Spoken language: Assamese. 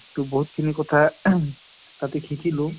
টো বহুত খিনি কথা তাতে শিকিলোঁ ।